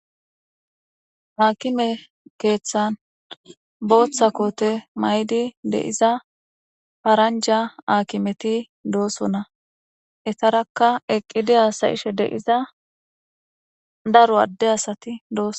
Haakime keeththan booththa koote maydi deiza faranja aakimeti doossona etarakka eqqidi aasayishe deiza daro adde asati dooso.